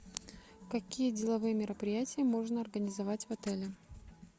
какие деловые мероприятия можно организовать в отеле